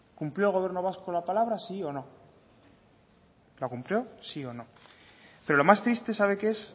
cumplió el gobierno vasco con la palabra sí o no la cumplió sí o no pero lo más triste sabe qué es